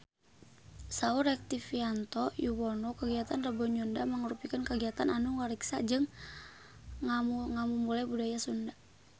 Saur Rektivianto Yoewono kagiatan Rebo Nyunda mangrupikeun kagiatan anu ngariksa jeung ngamumule budaya Sunda